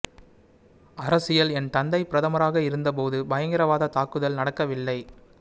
அரசியல் என் தந்தை பிரதமராக இருந்த போது பயங்கரவாத தாக்குதல் நடக்கவில்லை